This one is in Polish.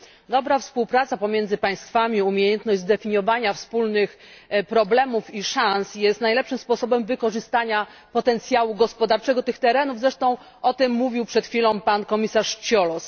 Dobra współpraca pomiędzy państwami, umiejętność zdefiniowania wspólnych problemów i szans jest najlepszym sposobem wykorzystania potencjału gospodarczego tych terenów. Mówił zresztą o tym przed chwilą komisarz Ciolos.